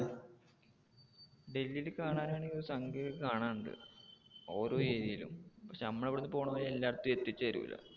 ഡൽഹില് കാണാൻ ആണെങ്ങി ഒരു സംഖ്യ ഒക്കെ കാണാൻ ഉണ്ട്. ഓരോ area യിലും പക്ഷെ നമ്മടെ ഇവിടെ പോണ പോലെ എല്ലാടത്തും എത്തി ചേരൂല്ല